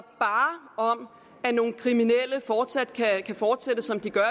om at nogle kriminelle fortsat kan fortsætte som de gør